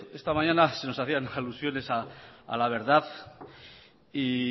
esta mañana se nos hacían alusiones a la verdad y